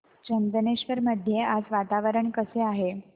चंदनेश्वर मध्ये आज वातावरण कसे आहे